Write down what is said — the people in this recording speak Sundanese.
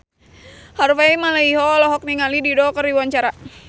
Harvey Malaiholo olohok ningali Dido keur diwawancara